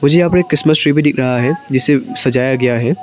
मुझे यहां पे एक क्रिसमस ट्री भी दिख रहा है जिसे सजाया गया है।